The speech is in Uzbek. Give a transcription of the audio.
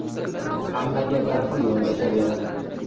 Hammaga bir xil yondashaveradi.